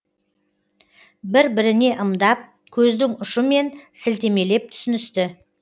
бір біріне ымдап көздің ұшымен сілтемелеп түсіністі